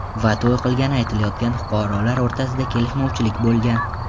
va to‘y qilgani aytilayotgan fuqarolar o‘rtasida kelishmovchilik bo‘lgan.